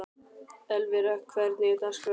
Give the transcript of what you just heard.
Elvira, hvernig er dagskráin?